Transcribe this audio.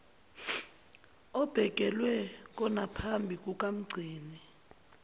obekelwe konaphambi kukamgcini